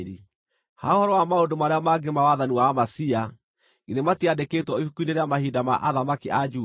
Ha ũhoro wa maũndũ marĩa mangĩ ma wathani wa Amazia, githĩ matiandĩkĩtwo ibuku-inĩ rĩa mahinda ma athamaki a Juda?